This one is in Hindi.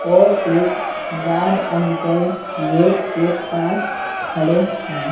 और एक गार्ड अंकल गेट के पास खड़े हैं।